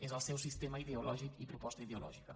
és el seu sistema ideològic i proposta ideològica